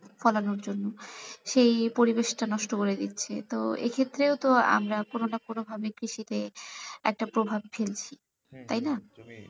ফলানোর জন্য সেই পরিবেষ টা নষ্ট করে দিচ্ছে তো এখেত্রেও তো আমরা কোনো কোনো ভাবে কৃষি তে একটা প্রভাব ফেলছি তাই না?